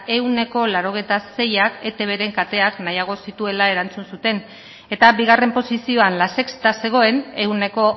ehuneko laurogeita seiak etbren kateak nahiago zituela erantzun zuten eta bigarren posizioan la sexta zegoen ehuneko